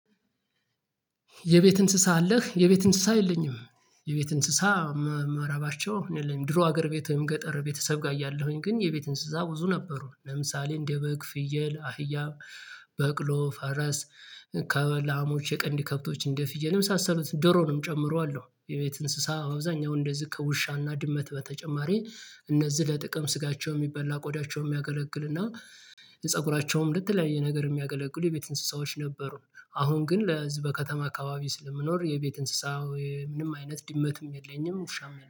የቤት እንስሳ አለህ የቤት እንስሳ የለኝም። የቤት እንስሳ መራባቸው የለኝም። ድሮ ሀገር ቤትህም ገጠር ቤተሰብ ጋር እያለሁኝ ግን የቤት እንስሳ ብዙ ነበሩ ለምሳሌ እንደ በግ ፍየል አህያ በቅሎ ፈረስ ከላሞች የቀንዲ ከብቶች እንደ ፍየል የመሳሰሉት ዶሮንም ጨምሮ አሉ። የቤት እንስሳ አብዛኛው እንደዚህ ከውሻና ድመት በተጨማሪ እነዚህ ለጥቅም ስጋቸው የሚበላ ቆዳቸው የሚያገለግልና የፀጉራቸውም ለተለያይ ነገር የሚያገለግሉ የቤት እንስሳዎች ነበሩን። አሁን ግን ለዚህ በከተማ አካባቢ ስለምኖር የቤት እንስሳዊ ምንም አይነት ድመትም የለኝም ውሻም